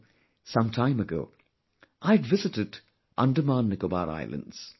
You know, some time ago I had visited AndamanNicobar Islands